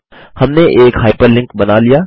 हमने एक हाइपरलिंक बना लिया